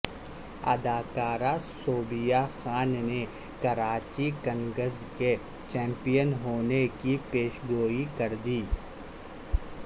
اداکارہ صوبیہ خان نے کراچی کنگز کے چمپئن ہونے کی پیشگوئی کر دی